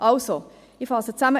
Also, ich fasse zusammen: